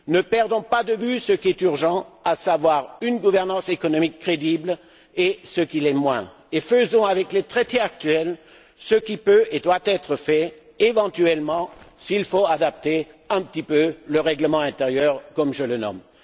Ne perdons pas de vue ce qui est urgent, à savoir une gouvernance économique crédible, et ce qui l'est moins, et faisons avec les traités actuels ce qui peut et doit être fait, éventuellement, s'il le faut, en adaptant un peu le règlement intérieur comme je le nomme.